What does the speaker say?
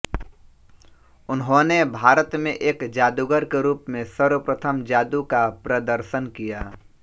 उन्होंने भारत में एक जादूगर के रूप में सर्वप्रथम जादू का प्रदर्शन किया